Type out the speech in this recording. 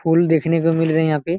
फूल देखने को मिल रहे है यहाँ पे।